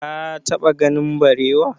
ka taɓa ganin barewa?